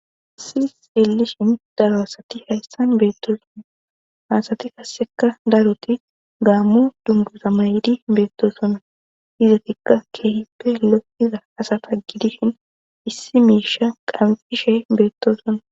issi xillishin daro asati hayssan beettosunna hasati kasseka daroti gaammu dumbuza may7idi beettosonna izotikka keehi peello iza asata gidishin issi miisha qamfishe beettosona